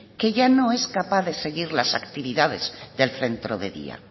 que ya no es capaz de seguir las actividades del centro de día